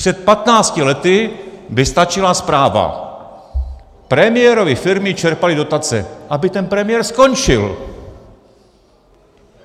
Před 15 lety by stačila zpráva Premiérovy firmy čerpaly dotace, aby ten premiér skončil.